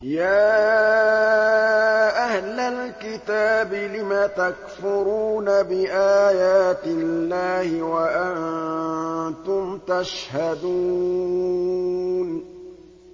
يَا أَهْلَ الْكِتَابِ لِمَ تَكْفُرُونَ بِآيَاتِ اللَّهِ وَأَنتُمْ تَشْهَدُونَ